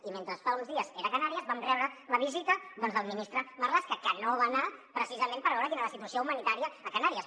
i mentre fa uns dies era a canàries vam rebre la visita del ministre marlaska que no va anar precisament per veure quina era la situació humanitària a canàries